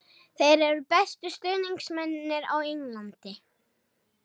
Þeir eru bestu stuðningsmennirnir á Englandi.